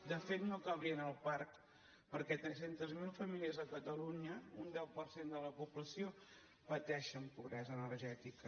de fet no cabrien al parc perquè tres centes mil famílies a catalunya un deu per cent de la població pateixen pobresa energètica